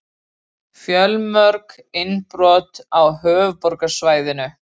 Fjölmörg innbrot á höfuðborgarsvæðinu